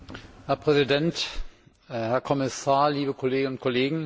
Herr Präsident, Herr Kommissar, liebe Kolleginnen und Kollegen!